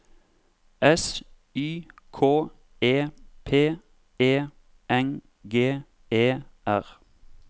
S Y K E P E N G E R